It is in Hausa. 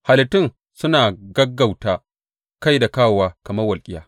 Halittun suna gaggauta kai da kawowa kamar walƙiya.